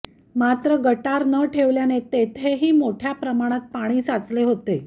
मात्र गटार न ठेवल्याने तेथेही मोठ्या प्रमाणात पाणी साचले होते